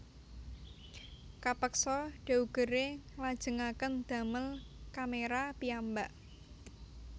Kapeksa Daguerre nglajengaken damel kaméra piyambak